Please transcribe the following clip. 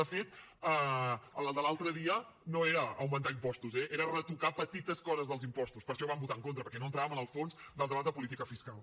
de fet el de l’altre dia no era augmentar impostos eh era retocar petites coses dels impostos per això hi vam votar en contra perquè no entràvem en el fons del debat de política fiscal